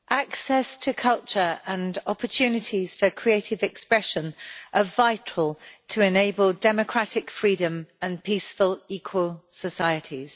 Mr President, access to culture and opportunities for creative expression are vital to enable democratic freedom and peaceful, equal societies.